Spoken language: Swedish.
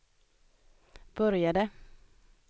började